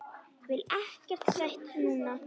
Vil ekkert sætt núna.